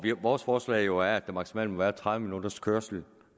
vores forslag jo er at der maksimalt må være tredive minutters kørsel